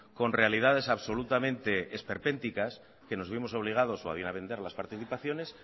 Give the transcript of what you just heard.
con realidades absolutamente esperpénticas que nos vimos obligados o bien a vender las participaciones